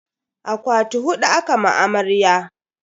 Akwati hudu aka ma amarya.